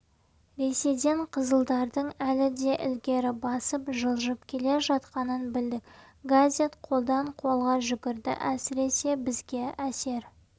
ресейден қызылдардың әлі де ілгері басып жылжып келе жатқанын білдік газет қолдан-қолға жүгірді әсіресе бізге әсер